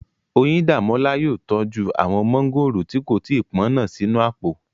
Oyíndàmọ́lá yóò tọ́jú àwọn mọ́ngòrò tí kò tí pọ́n náà sínú àpò